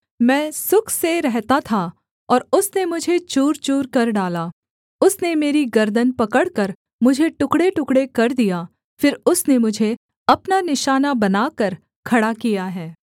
मैं सुख से रहता था और उसने मुझे चूर चूरकर डाला उसने मेरी गर्दन पकड़कर मुझे टुकड़ेटुकड़े कर दिया फिर उसने मुझे अपना निशाना बनाकर खड़ा किया है